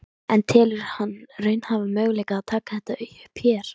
En telur hann raunhæfan möguleika að taka þetta upp hér?